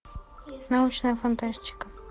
научная фантастика